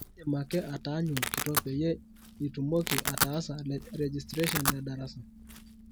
idim ake aataanyu olkitok peyie nitumoki ataasa registration edarasa